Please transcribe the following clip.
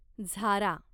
झारा